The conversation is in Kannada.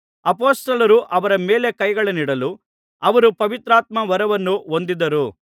ಅಪೊಸ್ತಲರು ಅವರ ಮೇಲೆ ಕೈಗಳನ್ನಿಡಲು ಅವರು ಪವಿತ್ರಾತ್ಮವರವನ್ನು ಹೊಂದಿದರು